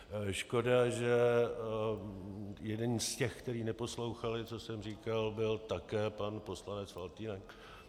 Škoda, že jeden z těch, kteří neposlouchali, co jsem říkal, byl také pan poslanec Faltýnek.